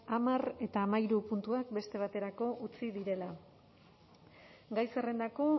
hamar eta hamahiru puntuak beste baterako utzi direla gai zerrendako